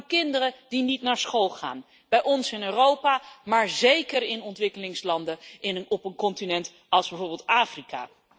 Het gaat om kinderen die niet naar school gaan. Bij ons in Europa, maar zeker in ontwikkelingslanden, op een continent als bijvoorbeeld Afrika.